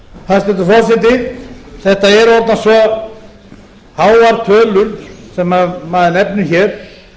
vöxtum hæstvirtur forseti þetta eru orðnar svo háar tölur sem maður nefnir hér